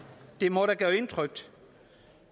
må da gøre indtryk